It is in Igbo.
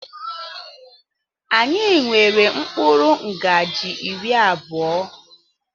Anyị nwere mkpụrụ ngaji iri abụọ.